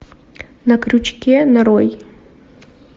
на крючке нарой